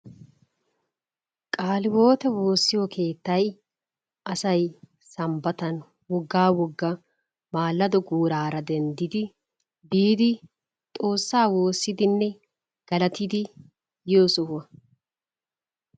Qaalihiwote woossiyo keettay asay sambbatan woggaa woggaa maladdo guuraara denddidi biidi xoossaa woossidinne galatidi yiyo sohuwa.